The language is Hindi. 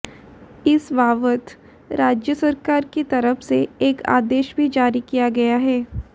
इस बाबत राज्य सरकार की तरफ से एक आदेश भी जारी किया गया है